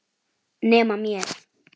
Nema mér.